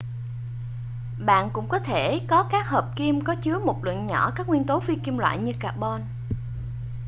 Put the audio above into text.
bạn cũng có thể có các hợp kim có chứa một lượng nhỏ các nguyên tố phi kim loại như carbon